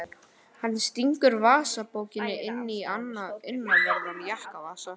Hann stingur vasabókinni í innanverðan jakkavasa.